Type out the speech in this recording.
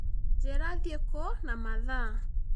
njĩra thiĩ kũ na mathaa